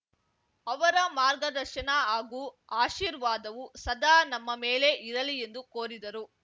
ಅವರ ಮಾರ್ಗದರ್ಶನ ಹಾಗೂ ಆಶೀರ್ವಾದವು ಸದಾ ನಮ್ಮ ಮೇಲೆ ಇರಲಿ ಎಂದು ಕೋರಿದರು